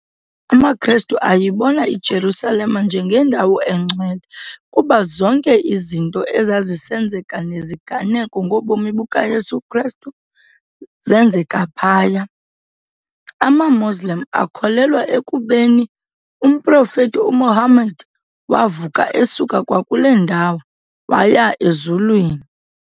AmaKhrestu ayibona iJerusalem njengendawo eNgcwele kuba zonke izinto ezazisenzeka neziganeko ngobomi bukaYesu Khrestu zeenzeka phaya. amaMoslem akholelwa ekubeni umProfethi uMuhammad wavuka esuka kwakule ndawo waya ezulwini.